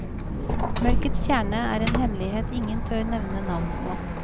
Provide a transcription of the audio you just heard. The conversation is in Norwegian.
Mørkets kjerne er en hemmelighet ingen tør nevne navn på.